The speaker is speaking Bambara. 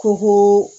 Ko ko